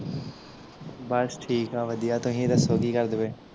ਬਸ ਠੀਕ ਆ ਵਧੀਆ ਤੁਸੀਂ ਦੱਸੋ ਕੀ ਕਰਦੇ ਪਏ?